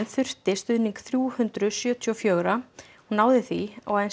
þurfti stuðning þrjú hundruð sjötíu og fjögurra og náði því og